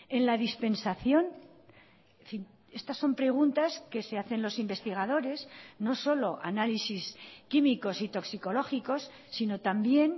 en la dispensación en fin estas son preguntas que se hacen los investigadores no solo análisis químicos y toxicológicos sino también